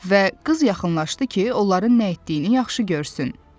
Və qız yaxınlaşdı ki, onların nə etdiyini yaxşı görsün.